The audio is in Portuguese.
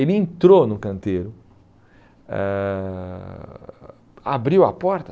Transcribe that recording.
Ele entrou no canteiro, eh abriu a porta.